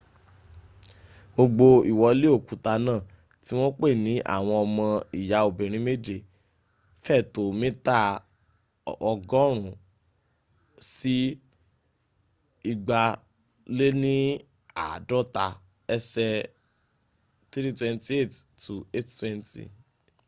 gbogbo iwole okuta na ti won pe ni awon omo iya obirin meje” fe to mita 100 si 250 ese 328 to 820